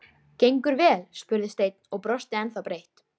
Gengur vel? spurði Stein og brosti ennþá breitt.